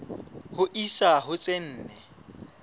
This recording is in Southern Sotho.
ho isa ho tse nne